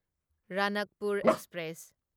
Ranakpur express